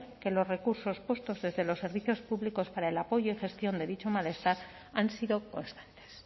que los recursos puestos desde los servicios públicos para el apoyo y gestión de dicho malestar han sido constantes